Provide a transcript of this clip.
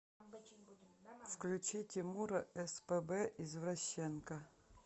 включи тимура спб извращенка